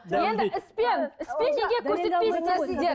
енді іспен іспен неге көрсетпейсіздер сіздер